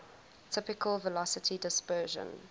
typical velocity dispersion